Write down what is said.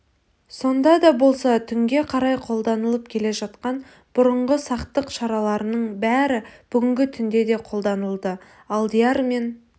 сонда да болса түнге қарай қолданылып келе жатқан бұрынғы сақтық шараларының бәрі бүгінгі түнде де қолданылды алдияр мен